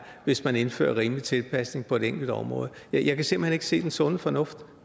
hvis man indfører en rimelig tilpasning på et enkelt område jeg kan simpelt hen ikke se den sunde fornuft